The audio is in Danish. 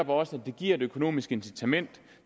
også giver et økonomisk incitament